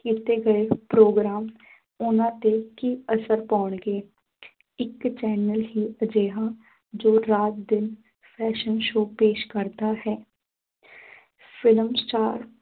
ਕੀਤੇ ਗਏ ਪ੍ਰੋਗਰਾਮ ਉਨ੍ਹਾਂ ਤੇ ਕੀ ਅਸਰ ਪਾਉਣਗੇ ਇੱਕ channel ਹੀ ਅਜਿਹਾ ਜੋ ਰਾਤ ਦਿਨ fashion show ਪੇਸ਼ ਕਰਦਾ ਹੈ film star